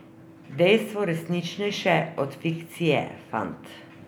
Dejstvo resničnejše od fikcije, fant.